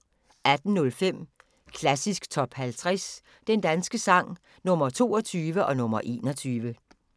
18:05: Klassisk Top 50 Den danske sang – Nr. 22 og nr. 21